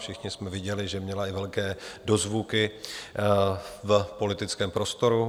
Všichni jsme viděli, že měla i velké dozvuky v politickém prostoru.